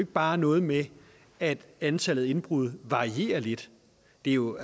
bare noget med at antallet af indbrud varierer lidt det er jo